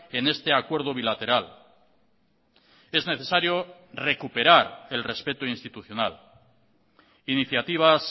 en este acuerdo bilateral es necesario recuperar el respeto institucional iniciativas